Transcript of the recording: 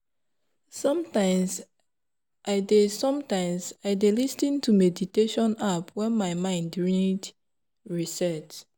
sometimes i dey sometimes i dey lis ten to meditation app when my mind need reset.